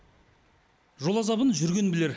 жол азабын жүрген білер